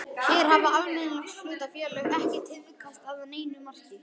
Hér hafa almenningshlutafélög ekki tíðkast að neinu marki.